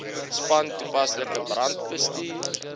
span toepaslike brandbestuur